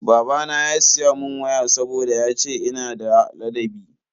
Babana ya siya mun waya saboda yace ina da ladabi.